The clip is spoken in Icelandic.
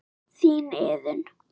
Þín Iðunn.